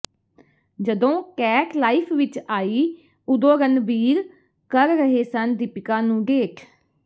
ਜਦੋਂ Kat life ਵਿੱਚ ਆਈ ਉਦੋਂ ਰਣਬੀਰ ਕਰ ਰਹੇ ਸਨ ਦੀਪਿਕਾ ਨੂੰ ਡੇਟ